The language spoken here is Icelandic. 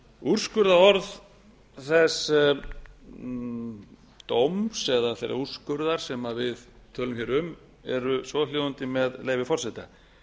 úrskurðarorð þess dóms eða þess úrskurðar sem við tölum hér um eru svohljóðandi með leyfi forseta